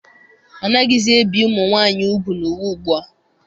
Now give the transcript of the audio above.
Anaghịzi ebi ụmụ nwaanyị ugwu n'ụwa ugbua.